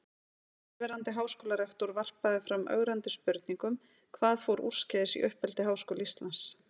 Og fyrrverandi háskólarektor varpaði fram ögrandi spurningum: Hvað fór úrskeiðis í uppeldi Háskóla Íslands?